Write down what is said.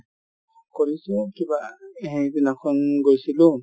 কৰিছো কিবা সেইদিনাখন গৈছিলো